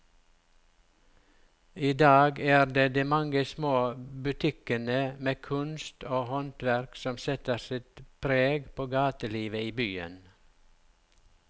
I dag er det de mange små butikkene med kunst og håndverk som setter sitt preg på gatelivet i byen.